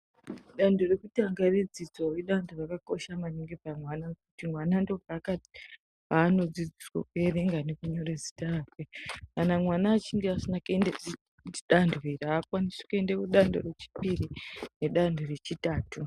Dando rwekutanga redzidzo ndiro rakakosha maningi kuti mwana anodzidziswa kuverenga nekunyora zita rake .Kana mwana asina kuende dando iri aakwanisi kuenda dando rechipiri kana dando rechitatu .